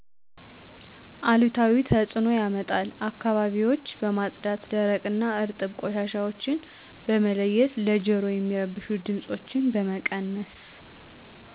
አሉታዊ ተፅዕኖ ያመጣል። አካባቢዎች በማጽዳት ደረቅ እና እርጥብ ቆሻሻዎችን በመለየት ለጀሮ የሚረብሹ ድምፆችን በመቀነስ